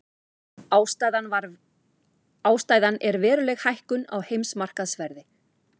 Ástæðan er veruleg hækkun á heimsmarkaðsverði